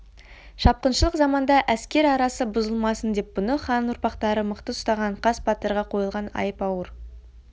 шапқыншылық заманда әскер арасы бұзылмасын деп бұны хан ұрпақтары мықты ұстаған қас батырға қойылған айып ауыр